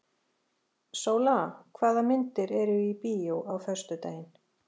Sóla, hvaða myndir eru í bíó á föstudaginn?